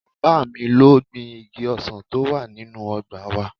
Bàbá mi ló gbin igi ọsàn tó wà nínú ọgbà wa